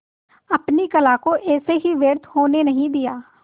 अपने कला को ऐसे ही व्यर्थ होने नहीं दिया